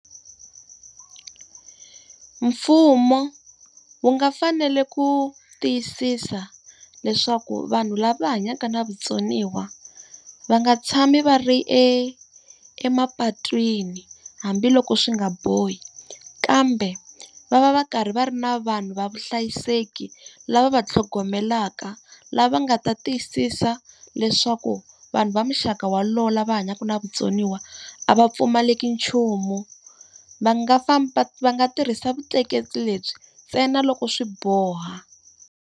Mfumo wu nga fanele ku tiyisisa leswaku vanhu lava hanyaka na vutsoniwa, va nga tshami va ri e emapatwini hambiloko swi nga bohi. Kambe va va va karhi va ri na vanhu va vuhlayiseki lava va tlhogomelaka, lava nga ta tiyisisa leswaku vanhu va muxaka walowo lava va hanyaka na vutsoniwa a va pfumaleka nchumu. Va nga va nga tirhisa vutleketli lebyi ntsena loko swi boha.